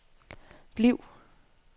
bliv